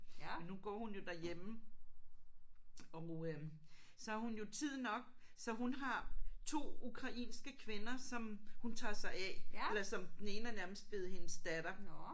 Men nu går hun jo derhjemme og øh så har hun jo tid nok så hun har 2 ukrainske kvinder som hun tager sig af eller som den ene er nærmest blevet hendes datter